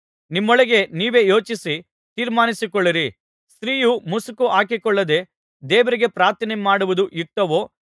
ನಿಮ್ಮೊಳಗೆ ನೀವೇ ಯೋಚಿಸಿ ತೀರ್ಮಾನಿಸಿಕೊಳ್ಳಿರಿ ಸ್ತ್ರೀಯು ಮುಸುಕು ಹಾಕಿಕೊಳ್ಳದೆ ದೇವರಿಗೆ ಪ್ರಾರ್ಥನೆ ಮಾಡುವುದು ಯುಕ್ತವೋ